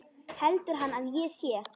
Heldur hann að ég sé.